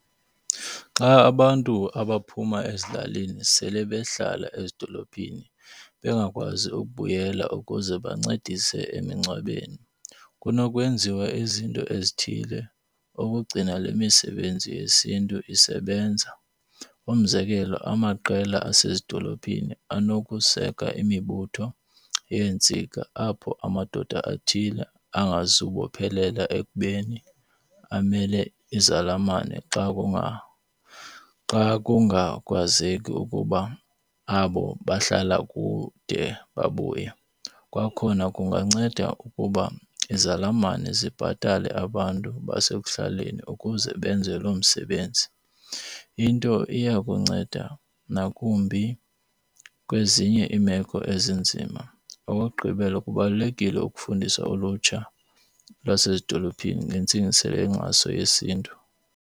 Xa abantu abaphuma ezilalini sele behlala ezidolophini bengakwazi ukubuyela ukuze bancedise emingcwabeni kunokwenziwa izinto ezithile ukugcina le misebenzi yesiNtu isebenza. Umzekelo, amaqela asezidolophini anokuseka imibutho yeentsika apho amadoda athile angazubophelela ekubeni amele izalamane xa kungakwazeki ukuba abo bahlala kude babuye. Kwakhona kunganceda ukuba izalamane zibhatale abantu basekuhlaleni ukuze benze loo msebenzi. Into iya kunceda nakumbi kwezinye iimeko ezinzima. Okokugqibela kubalulekile ukufundisa ulutsha lwasezidolophini ngentsingiselo yenkxaso yesiNtu.